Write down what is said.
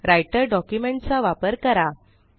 writer document चा वापर करा